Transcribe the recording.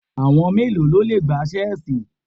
Àwọn mélòó ló le gbá Ṣẹ́ẹ́sì?